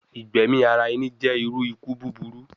Igbẹmi ara ẹni jẹ iru iku buburu